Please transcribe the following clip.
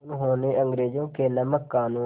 उन्होंने अंग्रेज़ों के नमक क़ानून